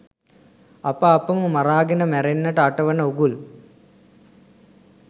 අප අපම මරාගෙන මැරෙන්නට අටවන උගුල්